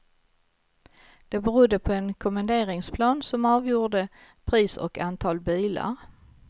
Det berodde på en kommenderingsplan som avgjorde pris och antal bilar.